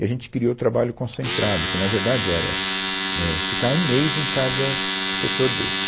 E a gente criou o trabalho concentrado, que na verdade era, é, ficar um mês em cada setor desse.